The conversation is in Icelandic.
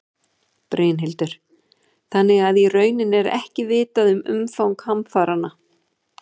Brynhildur: Þannig að í rauninni er ekki vitað um umfang hamfaranna?